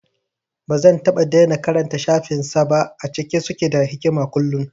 Bazan taɓa daina karanta shafin sa ba, a cike suke da hikama kullum